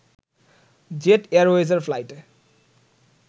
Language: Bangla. জেট এয়ারওয়েজের ফ্লাইটে